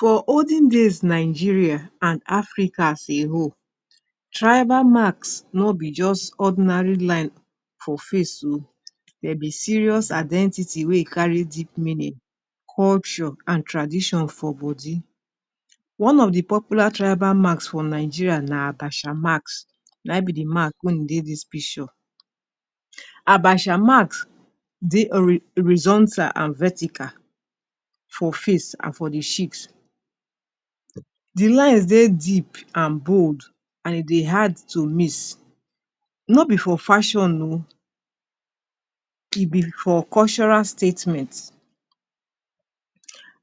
For olden days Nigeria and Africa as a whole, tribal marks no be just ordinary line for face oh, de be serious identity wey e carry deep meaning, culture and tradition for body. One of the popular tribal marks for Nigeria na Abasha marks. Na im be the mark wey dey dis picture. Abasha marks dey hori horizontal and vertical for face and for the cheeks. The lines dey deep and bold and e dey hard to miss. No be for fashion oh, e be for cultural statements.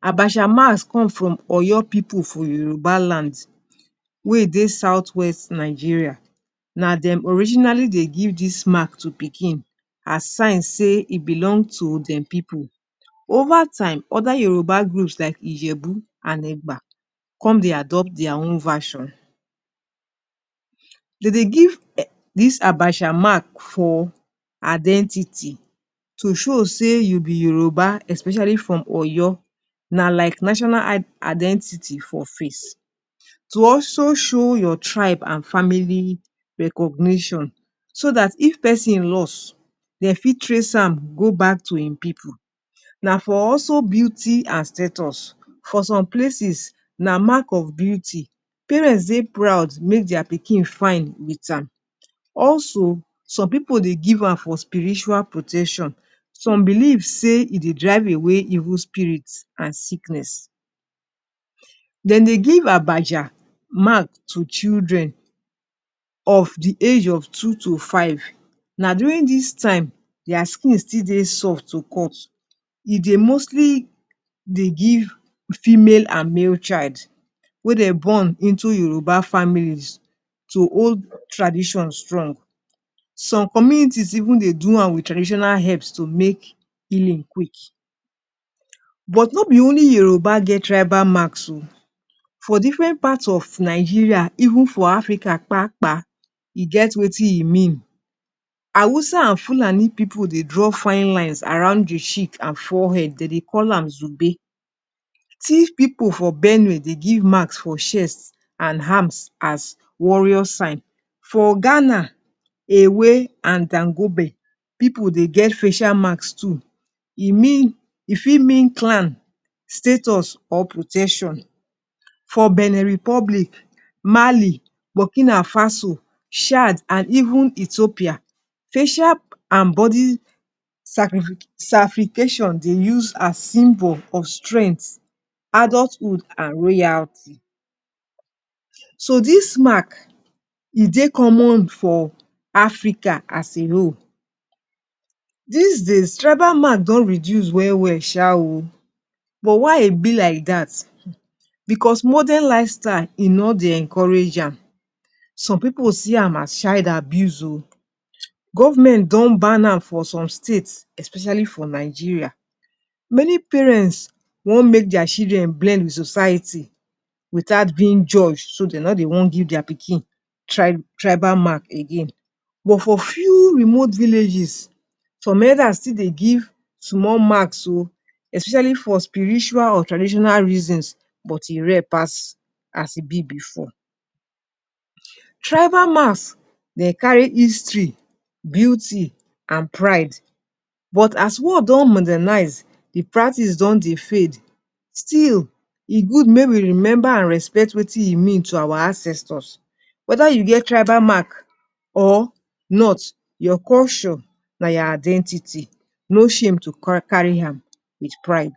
Abasha marks come from Oyo pipu for Yoruba land wey e dey southwest Nigeria. Na dem originally dey give dis mark to Pikin as sign sey e belong to dem pipu. Over time other Yoruba groups like Ijebu and Egba come dey adopt their own version. De dey give um dis Abasha mark for identity to show sey you be Yoruba especially from Oyo, na like national identity for face. To also show your tribe and family recognition so dat if pesin lost, de fit trace am go back to e pipu. Na for also beauty and status. For some places na mark of beauty, parents dey proud make their Pikin fine with am. Also, some pipu dey give am for spiritual protection, some believe sey, e dey drive away evil spirits and sickness. De dey give Abasha mark to children of the age of two to five. Na during dis time their skin still they soft to cut. E dey mostly dey give female and male child wey dem born into Yoruba families to hold tradition strong. Some communities even dey do am with traditional helps to make healing quick. But not be only Yoruba get tribal marks oh. For different part of Nigeria even for Africa kpa-kpa, e get wetin e mean. Hausa and Fulani pipu dey draw fine lines around the cheek and forehead, de dey call am Zube. Tiv pipu for Benue dey give marks for chest and arms as warrior sign. For Ghana, Ewe and Dangube pipu dey get facial marks too. E mean, e fit mean clan, status or protection. For Benin Republic, Mali, Burkina Faso, Chad and even Ethiopia, facial and body scarification dey use as symbol of strength, adulthood and royalty. So, dis mark, e dey common for Africa as a whole. Des days tribal mark don reduce well well sha oh. But why e be like that? Because modern lifestyle e no dey encourager am. Some pipu see am as child abuse oh. Government don ban am for some states especially for Nigeria. Many parents wan make their children blend with society without being judged so de no dey wan give their pikin tri tribal mark again. But for few remote villages, some elders still dey give small marks oh, especially for spiritual or traditional reasons but e rare pass as e be before. Tribal marks de carry history, beauty and pride. But as world don modernize, the practice don dey fade. Still, e good make remember and respect wetin e mean to our ancestors. Whether you get tribal mark or not, your culture na your identity. No shame to carry am with pride.